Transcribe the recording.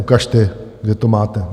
Ukažte, kde to máte.